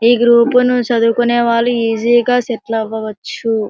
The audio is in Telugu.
గ్రూప్ ను చదువుకునేవాళ్ళు ఈజీ గ సెటిల్ అవ్వవచ్చు.